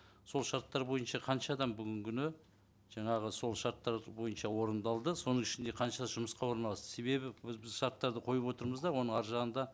сол шарттар бойынша қанша адам бүгінгі күні жаңағы сол шарттар бойынша орындалды соның ішінде қаншасы жұмысқа орналасты себебі біз шарттарды қойып отырмыз да оның арғы жағында